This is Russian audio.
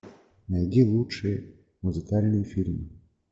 найди лучшие музыкальные фильмы